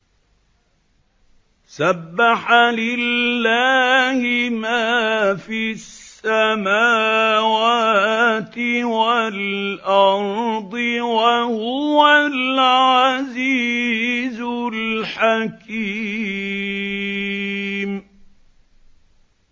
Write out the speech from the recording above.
سَبَّحَ لِلَّهِ مَا فِي السَّمَاوَاتِ وَالْأَرْضِ ۖ وَهُوَ الْعَزِيزُ الْحَكِيمُ